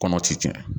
Kɔnɔ ti tiɲɛ